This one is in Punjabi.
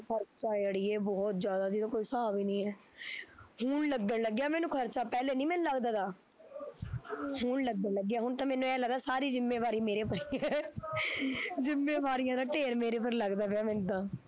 ਖਰਚਾ ਐ ਅੜੀਏ ਬਹੁਤ ਜਿਹਦਾ ਕੋਈ ਹਿਸਾਬ ਨੀ ਐ, ਹੁਣ ਲੱਗਣ ਲੱਗਿਆ ਮੈਨੂੰ ਖਰਚਾ ਪਹਿਲੇ ਨੀ ਮੈਨੂੰ ਲੱਗਦਾ, ਤਾ ਹਮ ਹੁਣ ਲੱਗਣ ਲੱਗਿਆ, ਹੁਣ ਤਾਂ ਮੈਨੂੰ ਐ ਲੱਗਦਾ ਸਾਰੀ ਜਿੱਮੇਵਾਰੀ ਮੇਰੇ ਪਈ ਐ ਜਿੱਮੇਵਾਰੀਆਂ ਦਾ ਢੇਰ ਮੇਰੇ ਪਰ ਈ ਲੱਗਦਾ ਪਿਆ ਮੈਨੂੰ ਤਾਂ